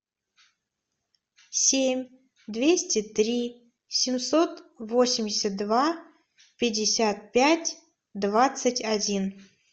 семь двести три семьсот восемьдесят два пятьдесят пять двадцать один